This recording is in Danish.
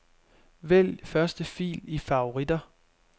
Vælg første fil i favoritter.